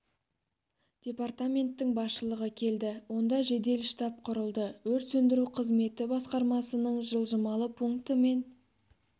департаменттің басшылығы келді онда жедел штаб құрылды өрт сөндіру қызметі басқарамасының жылжымалы пункті мен